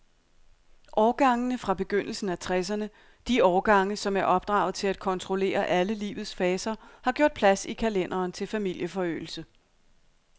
Årgangene fra begyndelsen af tresserne, de årgange, som er opdraget til at kontrollere alle livets faser, har gjort plads i kalenderen til familieforøgelse.